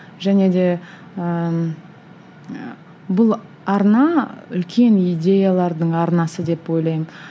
және де ыыы бұл арна үлкен идеялардың арнасы деп ойлаймын